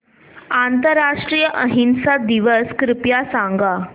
आंतरराष्ट्रीय अहिंसा दिवस कृपया सांगा